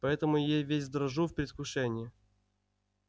поэтому я и весь дрожу в предвкушении